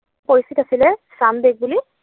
পৰিস্থিত আছিলে, ম ছাম দেশ বুলি।